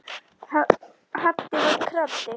Haddi var krati.